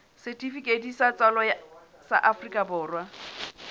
setifikeiti sa tswalo sa afrika